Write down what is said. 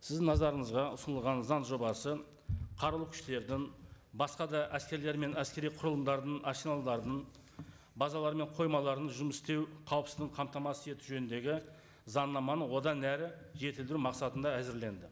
сіздің назарыңызға ұсынылған заң жобасы қарулы күштердің басқа да әскерлер мен әскери құрылымдарының арсеналдарын базалары мен қоймаларының жұмыс істеу қауіпсіздігін қамтамасыз ету жөніндегі заңнаманы одан әрі жетілдіру мақсатында әзірленді